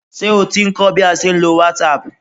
Ṣé o ti ń kọ́ bí a ṣe ń lo whatsapp?